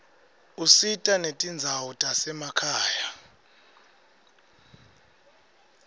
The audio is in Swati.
usita netindzawo tasemakhaya